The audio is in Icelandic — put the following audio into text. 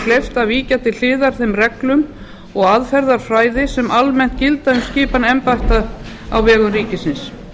kleift að víkja til hliðar þeim reglum og aðferðafræði sem almennt gilda um skipan embætta á vegum ríkisins